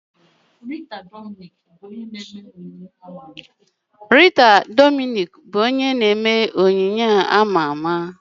Rita Dominic bụ onye na-eme onyonyo ama ama.